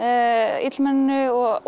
illmenninu og